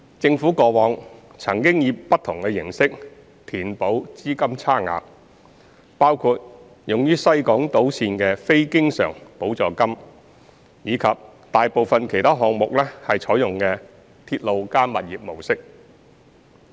政府過往曾以不同形式填補資金差額，包括用於西港島綫的非經常補助金及大部分其他項目採用的"鐵路加物業"模式。